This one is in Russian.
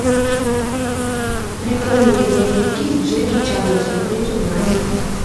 прикольные боевики с джеки чаном смотреть онлайн